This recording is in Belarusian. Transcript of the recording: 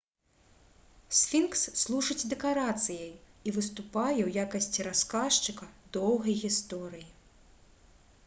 сфінкс служыць дэкарацыяй і выступае ў якасці расказчыка доўгай гісторыі